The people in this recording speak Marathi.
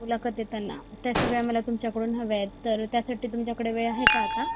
मुलाखत देताना त्या सगळ्या मला तुमच्या कडून हव्यात तर त्यासाठी तुमच्या कडे वेळ आहे का आत्ता